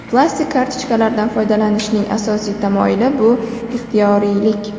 Plastik kartochkalardan foydalanishning asosiy tamoyili bu ixtiyoriylik.